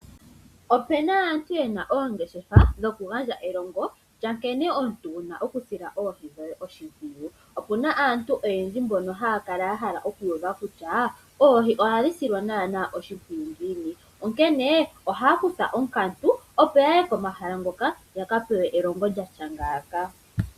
Opena aantu yena oongeshefa dhokugandja elongo lyankene omuntu wuna okusila oohi dhoye oshimpwiyu. Opuna aantu oyendji mbono haya kala yahala okuuva kutya oohi ohadhi silwa naanaa oshimpwiyu ngiini, onkene ohaya kutha onkatu opo yaye komahala ngoka yaka pewe elongo lyatya ngaaka.